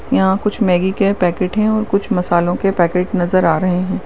यहा कुछ म्यागी के प्याकेट है और कुछ मसलो के पैकेट नजर आ रहे है।